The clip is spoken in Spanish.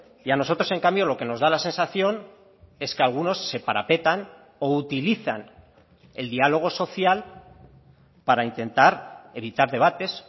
y a nosotros en cambio lo que nos da la sensación es que algunos se parapetan o utilizan el diálogo social para intentar evitar debates